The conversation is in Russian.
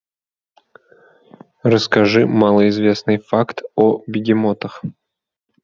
расскажи малоизвестный факт о бегемотах